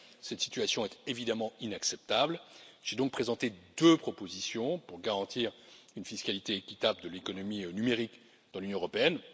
Cette situation est évidemment inacceptable, j'ai donc présenté deux propositions pour garantir une fiscalité équitable de l'économie numérique dans l'Union européenne.